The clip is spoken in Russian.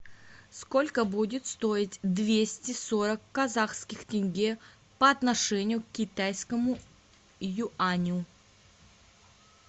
сколько будет стоить двести сорок казахских тенге по отношению к китайскому юаню